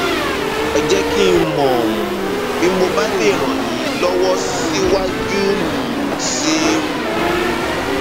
ẹ jẹ kí n mọ um bí mo bá lè ràn yín lọwọ síwájú um sí um